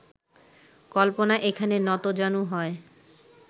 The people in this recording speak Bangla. কল্পনা এখানে নতজানু হয়